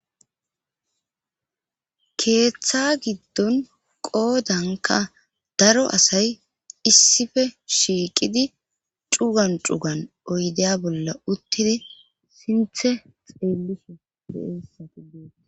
Keeththa giddon qoodanka daro asay issife shiiqidi cugan cugan oydeya bolla uttidi sinthe xeelliso deessati dee.